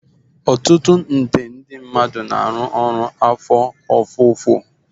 Ọtụtụ nde mmadụ na-arụ ọrụ afọ ofufo